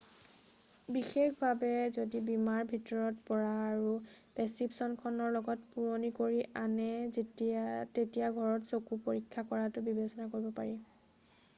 বিশেষভাৱে যদি বীমাৰ ভিতৰত পৰা আৰু প্ৰেছক্ৰিপচনখন লগত পুৰণ কৰি আনে তেতিয়া ঘৰত চকু পৰীক্ষা কৰাটো বিবেচনা কৰিব পাৰি